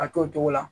A t'o cogo la